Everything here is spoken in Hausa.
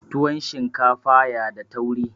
tuwon shinkafa ya da tauri